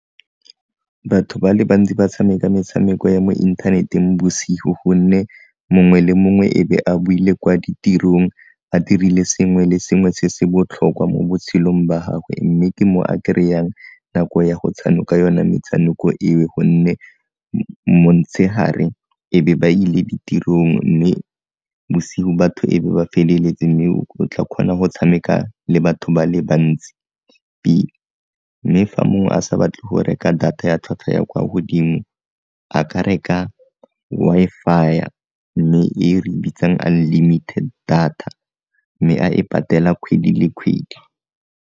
Batho ba le bantsi ba tshameka metshameko ya mo inthaneteng bosigo gonne mongwe le mongwe e be a boile kwa ditirong a dirile sengwe le sengwe se se botlhokwa mo botshelong ba gagwe mme ke mo a kry-ang nako ya go tshanoka yone metshameko eo gonne montshegare e be ba ile tirong mme bosigo batho e be ba feleletse mme o tla kgona go tshameka le batho ba le bantsi mme fa mongwe a sa batle go reka data ya tlhwatlhwa ya kwa godimo a ka reka Wi-Fi mme e re bitsang unlimited data mme a e patela kgwedi le kgwedi.